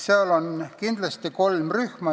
Seal on kindlasti kolm rühma.